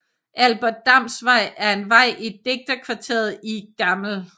Albert Dams Vej er en vej i digterkvarteret i Gl